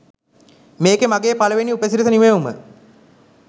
මේක මගේ පලවෙනි උපසිරැසි නිමැවුම